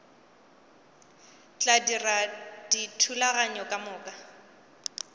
tla dira dithulaganyo ka moka